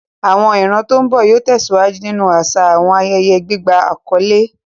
Àwọn ìran tó ń bọ̀ yóò tẹ̀síwájú nínú àṣà àwọn ayẹyẹ gbígba àkọ́lé.